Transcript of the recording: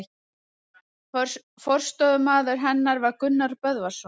Forstöðumaður hennar varð Gunnar Böðvarsson.